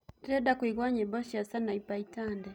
ndĩrenda kũigwa nyĩmbo cĩa sanaipei tande